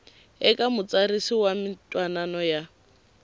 eka mutsarisi wa mintwanano ya